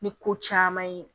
Ni ko caman ye